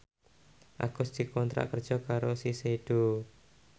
Agus dikontrak kerja karo Shiseido